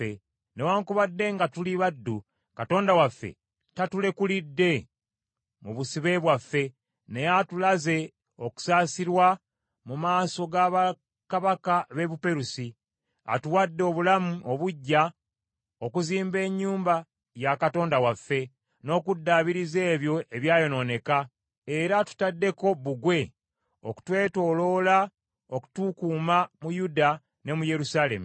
Newaakubadde nga tuli baddu, Katonda waffe tatulekulidde mu busibe bwaffe, naye atulaze okusaasirwa mu maaso ga bakabaka b’e Buperusi. Atuwadde obulamu obuggya okuzimba ennyumba ya Katonda waffe, n’okuddaabiriza ebyo ebyayonooneka, era atutaddeko Bbugwe okutwetooloola okutukuuma mu Yuda ne mu Yerusaalemi.